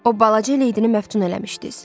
O balaca leydini məftun eləmişdiz.